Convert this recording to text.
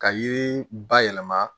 Ka yiri bayɛlɛma